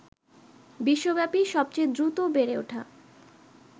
বিশ্বব্যাপী সবচেয়ে দ্রুত বেড়ে ওঠা